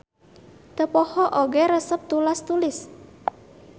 Teu poho oge resep tulas-tulis.